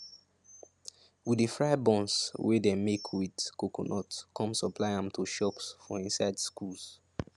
we de fry buns wey dey make with coconut come supply am to shops for inside schools